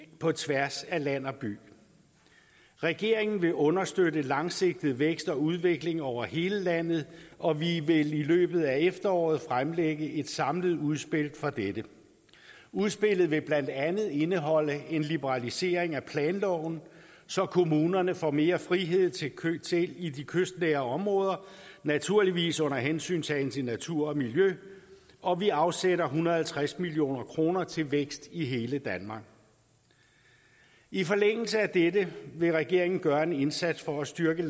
på tværs af land og by regeringen vil understøtte langsigtet vækst og udvikling over hele landet og vi vil i løbet af efteråret fremlægge et samlet udspil for dette udspillet vil blandt andet indeholde en liberalisering af planloven så kommunerne får mere frihed i de kystnære områder naturligvis under hensyntagen til natur og miljø og vi afsætter en hundrede og halvtreds million kroner til vækst i hele danmark i forlængelse af dette vil regeringen gøre en indsats for at styrke